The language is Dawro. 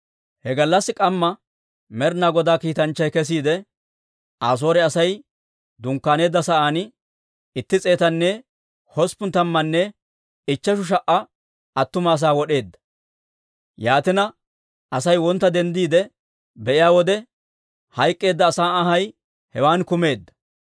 He gallassi k'amma Med'ina Godaa kiitanchchay kesiide, Asoore Asay dunkkaaneedda sa'aan itti s'eetanne hosppun tammanne ichcheshu sha"a attuma asaa wod'eedda. Yaatina Asay wontta denddiide be'iyaa wode, hayk'k'eedda asaa anhay hewan kumeedda.